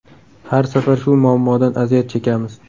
Har safar shu muammodan aziyat chekamiz.